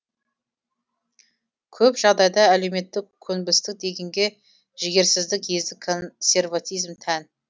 көп жағдайда әлеуметтік көнбістік дегенге жігерсіздік ездік консерватизм тән